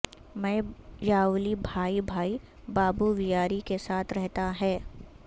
میں یاولی بھائی بھائی بابوویاری کے ساتھ رہتا ہے